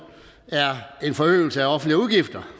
er en forøgelse af offentlige udgifter